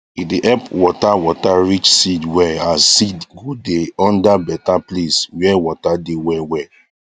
e dey help water water reach seed well as seed go dey under better place where water dey well well